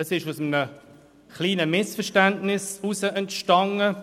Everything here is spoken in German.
Er entstand aus einem kleinen Missverständnis heraus.